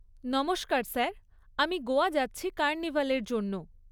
নমস্কার স্যার, আমি গোয়া যাচ্ছি কার্নিভালের জন্য।